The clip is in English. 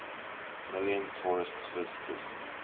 million tourists visited